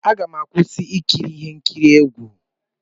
M ga-akwụsị ikiri ihe nkiri egwu.